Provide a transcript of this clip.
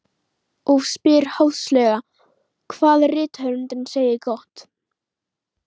Og spyr háðslega hvað rithöfundurinn segi gott.